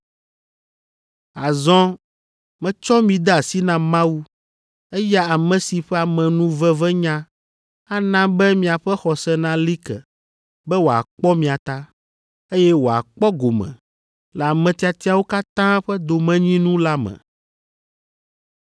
“Azɔ metsɔ mi de asi na Mawu, eya ame si ƒe amenuvevenya ana be miaƒe xɔse nali ke, be wòakpɔ mia ta, eye wòakpɔ gome le ame tiatiawo katã ƒe domenyinu la me.